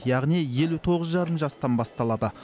яғни елу тоғыз жарым жастан басталады